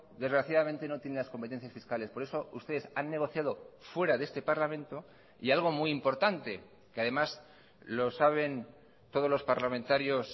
desgraciadamente no tiene las competencias fiscales por eso ustedes han negociado fuera de este parlamento y algo muy importante que además lo saben todos los parlamentarios